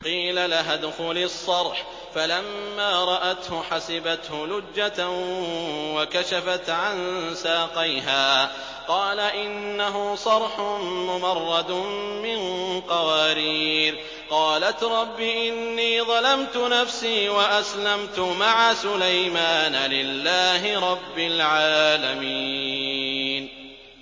قِيلَ لَهَا ادْخُلِي الصَّرْحَ ۖ فَلَمَّا رَأَتْهُ حَسِبَتْهُ لُجَّةً وَكَشَفَتْ عَن سَاقَيْهَا ۚ قَالَ إِنَّهُ صَرْحٌ مُّمَرَّدٌ مِّن قَوَارِيرَ ۗ قَالَتْ رَبِّ إِنِّي ظَلَمْتُ نَفْسِي وَأَسْلَمْتُ مَعَ سُلَيْمَانَ لِلَّهِ رَبِّ الْعَالَمِينَ